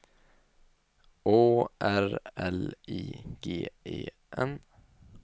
Å R L I G E N